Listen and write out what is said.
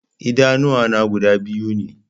Idanuwa na guda biyu ne